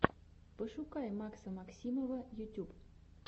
пошукай макса максимова ютюб